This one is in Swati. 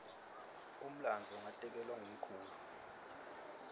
umlandvo ngatekelwa ngumkhulu